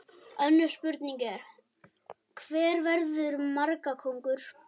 Önnur spurning er: Hver verður markakóngur?